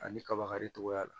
Ani kaba karitogoya la